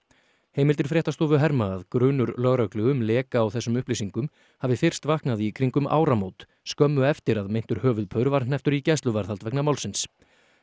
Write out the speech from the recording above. heimildir fréttastofu herma að grunur lögreglu um leka á þessum upplýsingum hafi fyrst vaknað í kringum um áramót skömmu eftir að meintur höfuðpaur var hnepptur í gæsluvarðhald vegna málsins